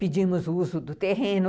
Pedimos o uso do terreno.